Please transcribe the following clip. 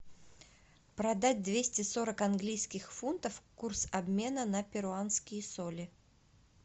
продать двести сорок английских фунтов курс обмена на перуанские соли